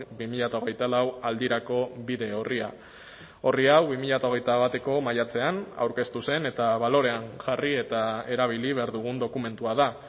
bi mila hogeita lau aldirako bide orria orri hau bi mila hogeita bateko maiatzean aurkeztu zen eta balorean jarri eta erabili behar dugun dokumentua da